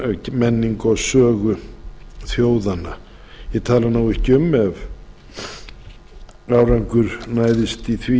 menningu og sögu þjóðanna ég tala ekki um ef árangur næðist í því